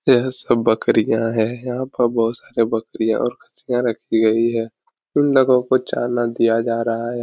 यह सब बकरियाँ हैं। यहाँ पर बहुत सारी बकरियाँ और खस्सियाँ रखी गयी हैं। उन लोगों को चाना दिया जा रहा है।